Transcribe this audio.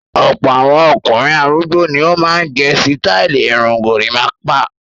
Ọ̀pọ̀ àwọn ọkùnrin arúgbó ni ó máa ń gẹ sítáálì irun gorímápá.